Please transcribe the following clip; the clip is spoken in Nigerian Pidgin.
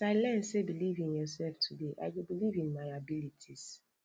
as i learn sey believe in yourself today i go believe in my abilities